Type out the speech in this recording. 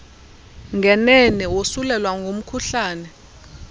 ngenene wosulelwa ngumkhuhlane